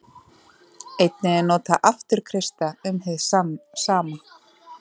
Einnig er notað afturkreista um hið sama.